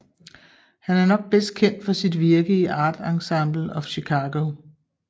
Han er nok bedst kendt for sit virke i Art Ensemble of Chicago